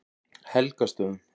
Helgastöðum